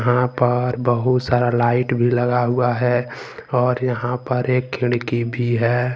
यहां पर बहुत सारा लाइट भी लगा हुआ है और यहां पर एक खिड़की भी है।